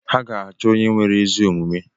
Ha ga-achọ onye nwere ezi omume.